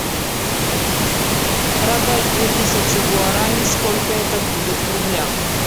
продать две тысячи гуарани сколько это будет в рублях